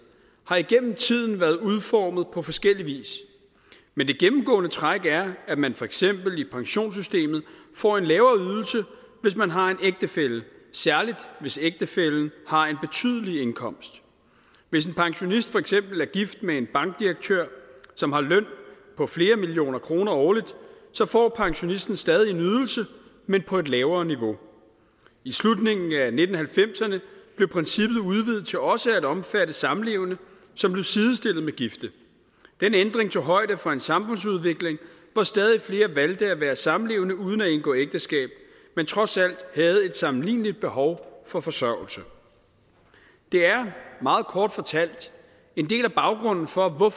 har igennem tiden været udformet på forskellig vis men det gennemgående træk er at man for eksempel i pensionssystemet får en lavere ydelse hvis man har en ægtefælle særligt hvis ægtefællen har en betydelig indkomst hvis en pensionist for eksempel er gift med en bankdirektør som har en løn på flere millioner kroner årligt så får pensionisten stadig en ydelse men på et lavere niveau i slutningen af nitten halvfemserne blev princippet udvidet til også at omfatte samlevende som blev sidestillet med gifte den ændring tog højde for en samfundsudvikling hvor stadig flere valgte at være samlevende uden at indgå ægteskab men trods alt havde et sammenligneligt behov for forsørgelse det er meget kort fortalt en del af baggrunden for at